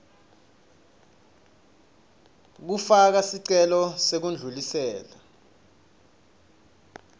kufaka sicelo sekudlulisela